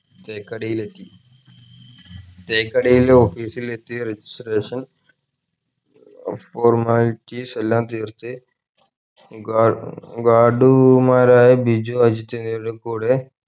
തേക്കടിയിലെത്തി തേക്കടിയിൽ office ഇൽ എത്തി registration upformalities എല്ലാം തീർത്ത് guard guard ഉമാരായ ബിജു അജിത് എന്നിവരുടെ കൂടെ